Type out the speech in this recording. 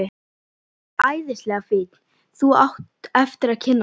Hann er æðislega fínn. þú átt eftir að kynnast honum.